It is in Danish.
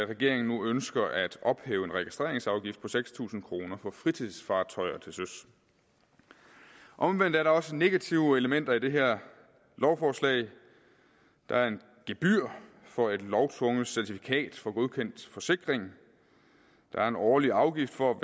regeringen nu ønsker at ophæve en registreringsafgift på seks tusind kroner for fritidsfartøjer til søs omvendt er der også negative elementer i det her lovforslag der er et gebyr for et lovtvungent certifikat for godkendt forsikring der er en årlig afgift for at